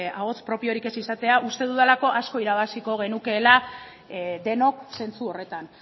ahots propiorik ez izatea uste dudalako asko irabaziko genukeela denok zentzu horretan